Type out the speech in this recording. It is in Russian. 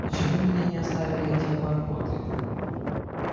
почему меня не оставили эти обормоты